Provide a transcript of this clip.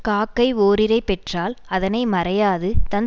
காக்கை ஓரிரை பெற்றால் அதனை மறையாது தன்